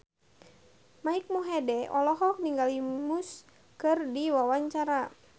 Mike Mohede olohok ningali Muse keur diwawancara